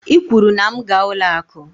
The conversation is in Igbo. I kwuru na m gaa ụlọ akụ.